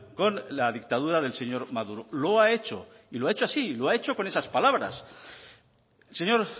con la dictadura del señor maduro lo ha hecho y lo ha hecho así lo ha hecho con esas palabras el señor